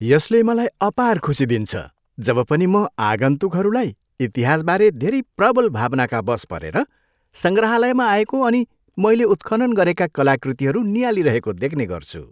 यसले मलाई अपार खुसी दिन्छ जब पनि म आगन्तुकहरूलाई इतिहासबारे धेरै प्रबल भावनाका वश् परेर सङ्ग्रहालयमा आएको अनि मैले उत्खनन गरेका कलाकृतिहरू नियाली रहेको देख्नेगर्छु।